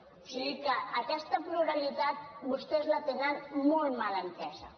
o sigui aquesta pluralitat vostès la tenen molt mal entesa